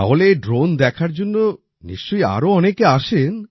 তাহলে এই ড্রোন দেখার জন্য নিশ্চয়ই আরো অনেকে আসে